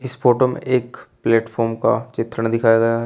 इस फोटो में एक प्लेटफार्म का चित्रण दिखाया गया है।